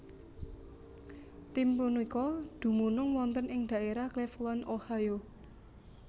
Tim punika dumunung wonten ing dhaérah Cleveland Ohio